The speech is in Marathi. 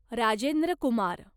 राजेंद्र कुमार